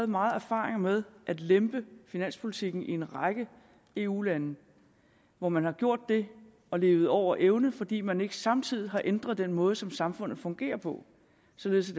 mange erfaringer med at lempe finanspolitikken fra en række eu lande hvor man har gjort det og levet over evne fordi man ikke samtidig har ændret den måde som samfundet fungerede på således